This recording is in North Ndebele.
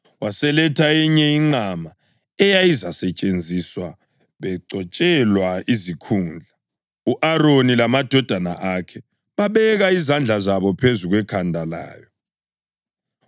Waseletha eyinye inqama, eyayizasetshenziswa begcotshelwa izikhundla, u-Aroni lamadodana akhe babeka izandla zabo phezu kwekhanda layo.